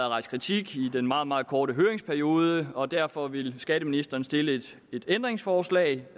rejst kritik i den meget meget korte høringsperiode og derfor vil skatteministeren stille et ændringsforslag